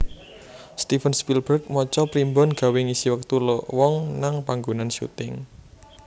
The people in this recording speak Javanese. Steven Spielberg maca primbon gawe ngisi wektu lowong nang panggonan syuting